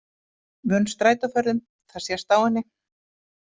Vön strætóferðum, það sést á henni.